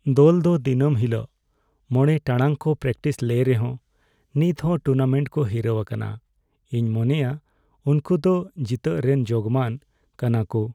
ᱫᱚᱞ ᱫᱚ ᱫᱤᱱᱟᱹᱢ ᱦᱤᱞᱚᱜ ᱕ ᱴᱟᱲᱟᱝ ᱠᱚ ᱯᱨᱮᱠᱴᱤᱥ ᱞᱮ ᱨᱮᱦᱚ ᱱᱤᱛᱦᱚᱸ ᱴᱩᱨᱱᱟᱢᱮᱱᱴ ᱠᱚ ᱦᱤᱨᱟᱹᱣ ᱟᱠᱟᱱᱟ ᱾ ᱤᱧ ᱢᱚᱱᱮᱭᱟ ᱩᱝᱠᱩ ᱫᱚ ᱡᱤᱛᱟᱹᱜ ᱨᱮᱱ ᱡᱳᱜᱢᱟᱱ ᱠᱟᱱᱟᱠᱩ ᱾